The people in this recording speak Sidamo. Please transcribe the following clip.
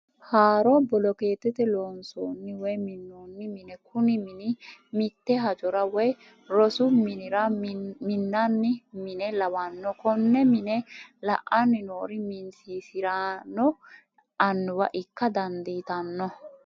Haaro bolokeetete loonsonni woyi minonni mine kuni mini mite hajjora woyi rosu minira minanni mine lawno, ko'ne mine la'ani noori min'siisirano anuwa ikka dandiitano